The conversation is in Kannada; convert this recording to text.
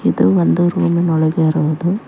ಇದು ಒಂದು ರೂಮಿನ ಒಳಗೆ ಇರುವುದು.